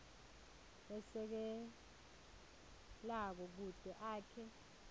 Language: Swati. lesekelako kute akhe